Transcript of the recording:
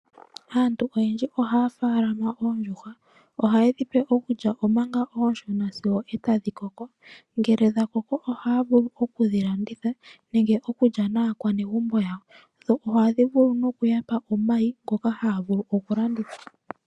Aantu oyendji ohaya munu oondjuhwa. Ohayedhi pe okulya omanga onshona na sigo etadhi koko. Ngele dhakoko ohaa vulu okudhi landitha nenge okulya naakwanegumbo lyawo. Ohadhi vulu noku yapa omayi ngoka haya vulu oku landitha.